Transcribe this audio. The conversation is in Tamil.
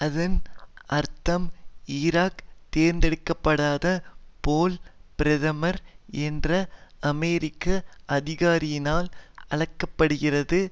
அதன் அர்த்தம் ஈராக் தேர்ந்தெடுக்க படாத போல் பிரேமர் என்ற அமெரிக்க அதிகாரியினால் ஆளப்படுகின்றது